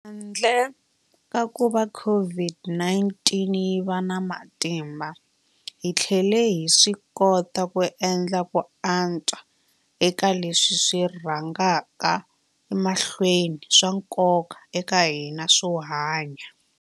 Handle ka kuva COVID-19 yi va na matimba, hi tlhele hi swikota ku endla ku antswa eka leswi swi rhangaka emahlweni swa nkoka eka hina swo hlaya.